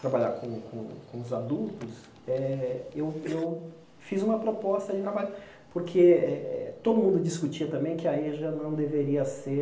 trabalhar com com com os adultos, eh eu eu fiz uma proposta de trabalho, porque eh todo mundo discutia também que a Eja não deveria ser